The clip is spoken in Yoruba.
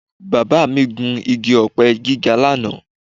Bàbá mi gùn igi ọ̀pẹ gíga lánàá